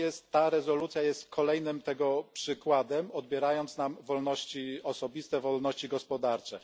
Ta rezolucja jest kolejnym tego przykładem, odbierając nam wolności osobiste, wolności gospodarcze.